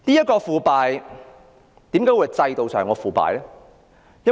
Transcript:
為何這是制度上的腐敗？